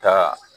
Ka